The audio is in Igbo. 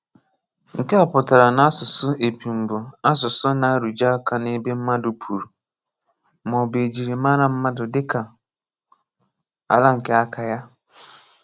Nkè á pụtara n’àsụsụ̀ épùṃ bụ̀ àsụsụ̀ ná-àrụ̀jé áka ná ebé mmadụ̀ ‘pùrù’, mà ọ̀ bụ̀ é jirì màrà mmadụ̀ dị́kà àlà nké àkà yá.